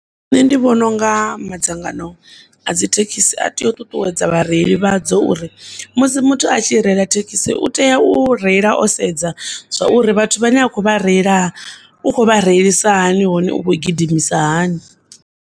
Nne ndi vhona unga madzangano a dzithekisi a tea u ṱuṱuwedza vhareili vhadzo uri musi muthu a tshi reila thekisi, u tea u reila o sedza zwauri vhathu vhane a kho vha reila u khovha reilisa hani hone u kho gidimisa hani.